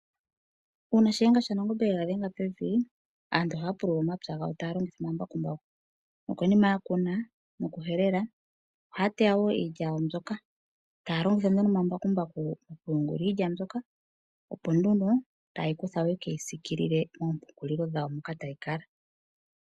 Uuna oshiyenga shaNangombe she ga dhenga pevi, aantu ohaya pulula omapya gawo taya longitha omambakumbaku, nokonima yokukuna nokuhelela, ohaya teya wo iilya yawo mbyoka. Taya longitha natango omambakumbaku okuyungula iilya mbyoka opo nduno taye yi kutha ye ke yi siikiilile moompungulilo dhawo moka tayi kala.